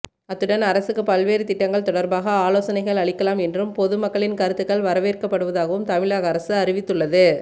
அத்துடன் அரசுக்கு பல்வேறு திட்டங்கள் தொடர்பாக ஆலோசனைகள் அளிக்கலாம் என்றும் பொதுமக்களின் கருத்துக்கள் வரவேற்கப்படுவதாகவும் தமிழக அரசு அறிவித்துள்ளது